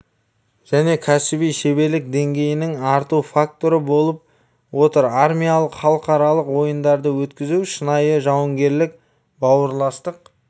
және кәсіби шеберлік деңгейінің арту факторы болып отыр армиялық халықаралық ойындарды өткізу шынайы жауынгерлік бауырластық